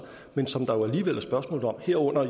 men som der alligevel er spørgsmål om herunder